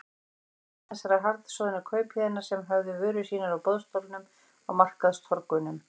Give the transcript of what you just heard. Trúlega einn þessara harðsoðnu kaupahéðna sem höfðu vörur sínar á boðstólum á markaðstorgunum.